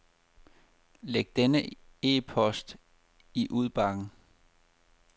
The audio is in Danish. Læg denne e-post i udbakken.